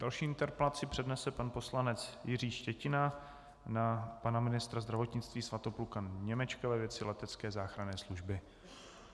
Další interpelaci přednese pan poslanec Jiří Štětina na pana ministra zdravotnictví Svatopluka Němečka ve věci letecké záchranné služby.